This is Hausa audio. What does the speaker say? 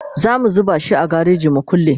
zamu zuba shi a gareji mu kulle